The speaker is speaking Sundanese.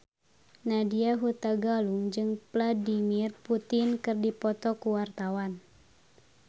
Nadya Hutagalung jeung Vladimir Putin keur dipoto ku wartawan